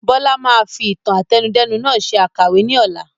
Bọlá máa fi ìtàn àtẹnudẹ́nu nàá ṣe àkàwé ni ọ̀la